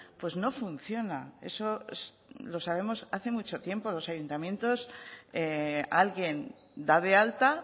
pues no funciona eso lo sabemos hace mucho tiempo los ayuntamientos alguien da de alta